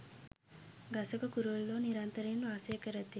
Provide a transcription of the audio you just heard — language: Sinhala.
ගසක කුරුල්ලෝ නිරන්තරයෙන් වාසය කරති.